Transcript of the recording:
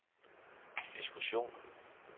diskussionen